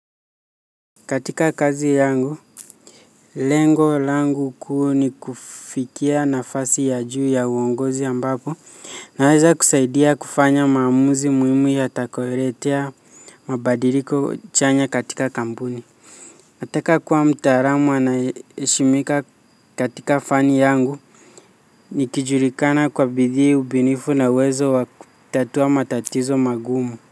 Katika kazi yangu, lengo langu kuu ni kufikia nafasi ya juu ya uongozi ambapo, naweza kusaidia kufanya maamuzi muhimu yatakayoletea mabadiliko chanya katika kampuni. Nataka kuwa mtaalamu anayeheshimika katika fani yangu, nikijulikana kwa bidii ubunifu na uwezo wa kutatua matatizo magumu.